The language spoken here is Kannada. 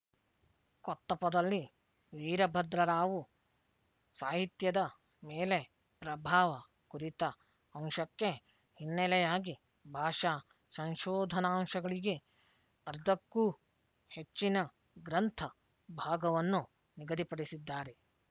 ಕೊತ್ತಪದಲ್ಲಿ ವೀರಭದ್ರ ರಾವು ಸಾಹಿತ್ಯದ ಮೇಲೆ ಪ್ರಭಾವ ಕುರಿತ ಅಂಶಕ್ಕೆ ಹಿನ್ನೆಲೆಯಾಗಿ ಭಾಷಾ ಸಂಶೋಧನಾಂಶಗಳಿಗೆ ಅರ್ಧಕ್ಕೂ ಹೆಚ್ಚಿನ ಗ್ರಂಥ ಭಾಗವನ್ನು ನಿಗದಿಪಡಿಸಿದ್ದಾರೆ